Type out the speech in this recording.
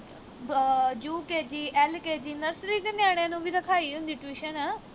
ਆਹ UKG, LKG nursery ਦੇ ਨਿਆਣਿਆਂ ਨੂੰ ਵੀ ਰਖਾਈ ਹੁੰਦੀ tution